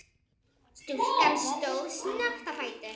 Stúlkan stóð snöggt á fætur.